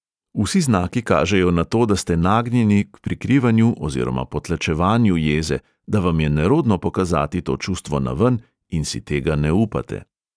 Vsi znaki kažejo na to, da ste nagnjeni k prikrivanju oziroma potlačevanju jeze, da vam je nerodno pokazati to čustvo naven in si tega ne upate.